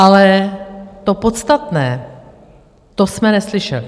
Ale to podstatné, to jsme neslyšeli.